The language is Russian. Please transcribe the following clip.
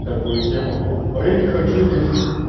такую тему а я не хочу здесь